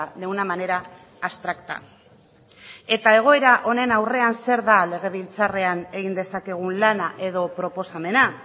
de una manera abstracta eta egoera honen aurrean zer da legebiltzarrean egin dezakegun lana edo proposamena